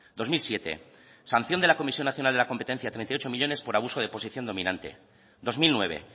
dos mil siete sanción de la comisión nacional de la competencia de treinta y ocho millónes por abuso de posición dominante dos mil nueve